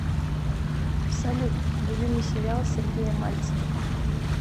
салют любимый сериал сергея мальцева